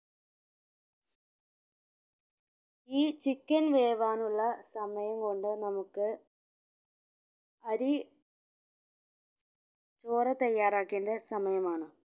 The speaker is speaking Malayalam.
ഈ chicken വേവാനുള്ള സമയം കൊണ്ട് നമ്മക്ക് അരി ചോറ് തയ്യറാക്കേണ്ട സമയമാണ്